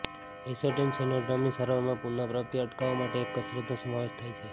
acetone સિન્ડ્રોમની સારવારમાં પુનઃપ્રાપ્તિ અટકાવવા માટે એક કસરતનો સમાવેશ થાય છે